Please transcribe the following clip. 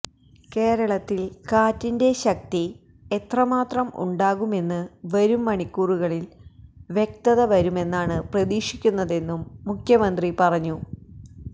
കേരളത്തില് കാറ്റിന്റെ ശക്തി എത്രമാത്രം ഉണ്ടാകുമെന്ന് വരും മണിക്കൂറുകളില് വ്യക്തത വരുമെന്നാണ് പ്രതീക്ഷിക്കുന്നതെന്നും മുഖ്യമന്ത്രി പറഞ്ഞു